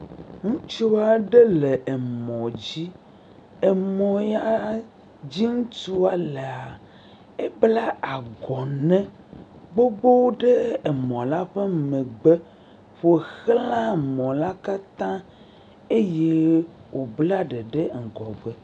Ŋutsu aɖe le mɔdzi. Emɔ ya dzi ŋutsɔa laa, ebla agɔne gbogbo ɖe emɔ la ƒe megbe ƒo xzã emɔ la kata eye wobla ɖe ŋgɔ gbe.